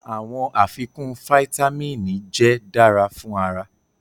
Awọn afikun fáítámínì jẹ dara fun ara